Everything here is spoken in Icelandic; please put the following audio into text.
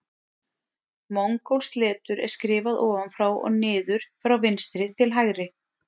Mongólskt letur er skrifað ofan frá og niður frá vinstri til hægri.